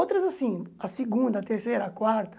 Outras assim, a segunda, a terceira, a quarta.